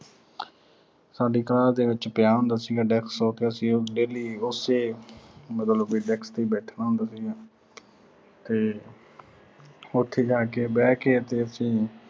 ਸਾਡੀ class ਦੇ ਵਿੱਚ ਪਿਆ ਹੁੰਦਾ ਸੀਗਾ desk ਤੇ ਉਹਤੇ ਅਸੀਂ daily ਉਸੇ ਮਤਲਬ ਵੀ desk ਤੇ ਹੀ ਬੈਠਣਾ ਹੁੰਦਾ ਸੀਗਾ। ਤੇ ਉਥੇ ਜਾ ਕੇ ਬਹਿ ਕੇ ਤੇ ਅਸੀਂ